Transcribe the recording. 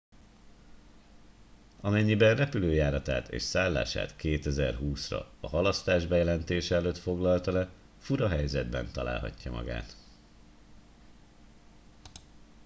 amennyiben repülőjáratát és szállását 2020 ra a halasztás bejelentése előtt foglalta le fura helyzetben találhatja magát